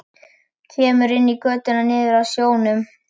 Kemur inn í götuna niður að sjónum.